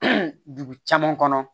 dugu caman kɔnɔ